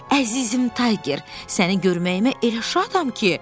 Əzizim Tayger, səni görməyimə elə şadam ki.